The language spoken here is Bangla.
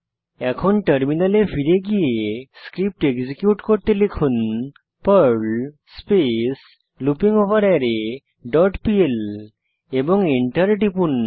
এখন টার্মিনালে ফিরে গিয়ে স্ক্রিপ্ট এক্সিকিউট করতে লিখুন পার্ল স্পেস লুপিংগভারারে ডট পিএল এবং এন্টার টিপুন